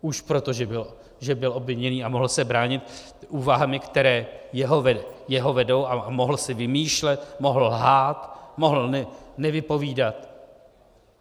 Už protože byl obviněný a mohl se bránit úvahami, které jeho vedou, a mohl si vymýšlet, mohl lhát, mohl nevypovídat.